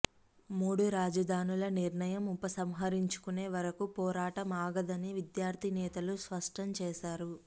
మూడు రాజధానుల నిర్ణయం ఉపసంహరించుకునే వరకు పోరాటం ఆగదని విద్యార్థి నేతలు స్పష్టం చేశారు